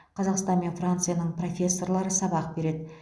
қазақстан мен францияның профессорлары сабақ береді